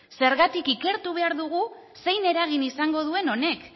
zergatik ikertu behar dugu zein eragin izango duen honek